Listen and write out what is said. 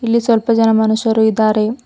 ಇಲ್ಲಿ ಸ್ವಲ್ಪ ಜನ ಮನುಷ್ಯರು ಇದ್ದಾರೆ.